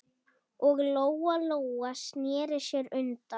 Og Lóa-Lóa sneri sér undan.